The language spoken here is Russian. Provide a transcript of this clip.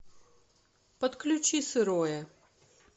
подключи сырое